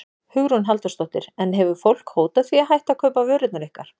Hugrún Halldórsdóttir: En hefur fólk hótað því að hætta að kaupa vörurnar ykkar?